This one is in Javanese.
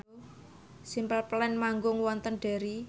Simple Plan manggung wonten Derry